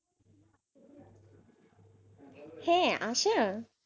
হ্যাঁ আসার,